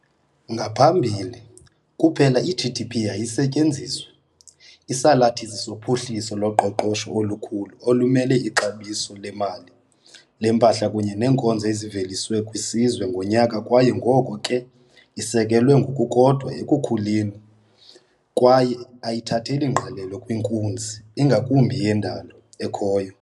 Ngaphambili, kuphela i-GDP yayisetyenziswa, isalathisi sophuhliso loqoqosho olukhulu olumele ixabiso lemali lempahla kunye neenkonzo eziveliswe kwisizwe ngonyaka kwaye ngoko ke isekelwe ngokukodwa ekukhuleni kwaye ayithatheli ngqalelo kwinkunzi ingakumbi yendalo ekhoyo.